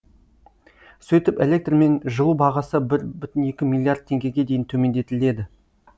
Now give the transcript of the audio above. сөйтіп электр мен жылу бағасы бір бүтін екі миллиард теңгеге дейін төмендетіледі